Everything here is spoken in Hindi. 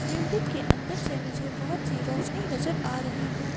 बिल्डिंग अंदर से मुझे बहुत ही सी रोशनी नजर आ रही है।